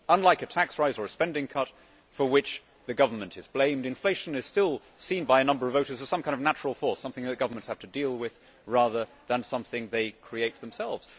Unlike a tax rise or a spending cut for which the government is blamed, inflation is still seen by a number of voters as some kind of natural force, something that governments have to deal with, rather than something they create themselves.